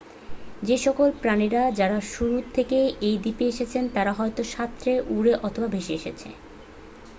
যেসকল প্রাণীরা যারা শুরু থেকেই এই দ্বীপে এসেছে তারা হয় সাঁতরে উড়ে অথবা ভেসে এসেছে।